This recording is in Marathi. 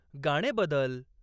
गाणे बदल